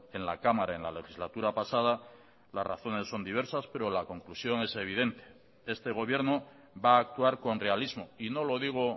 en la cámara en la legislatura pasada las razones son diversas pero la conclusión es evidente este gobierno va a actuar con realismo y no lo digo